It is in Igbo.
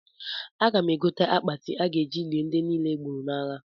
Aga m egote akpati a ga-eji lie ndị niile e gburu n'agha